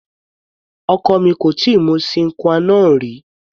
Ọkọ mi kò tíì mu sine qua non rí.